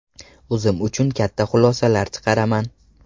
O‘zim uchun katta xulosalar chiqaraman.